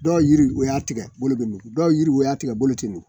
Dɔw yiri u y'a tigɛ bolo bɛ nugu, dɔw yiri o y'a tigɛ bolo tɛ nugu.